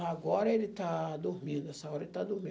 Agora ele está dormindo, essa hora ele está dormindo.